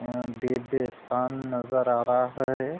अ दिव्यस्थान नज़र आ रहा है।